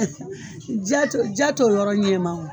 Jato jato yɔrɔ ɲɛ ma o